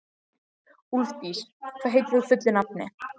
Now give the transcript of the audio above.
Úlfdís, hvað heitir þú fullu nafni?